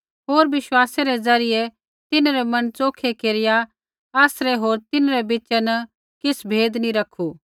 होर विश्वासै रै द्वारा तिन्हरै मन च़ोखै केरिया आसरै होर तिन्हरै बीच़ा न किछ़ भेद नी रैखू